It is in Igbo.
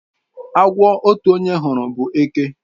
Agwo otu onye hụrụ bụ eke.